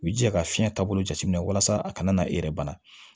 I bi jija ka fiɲɛ taabolo jateminɛ walasa a kana e yɛrɛ bana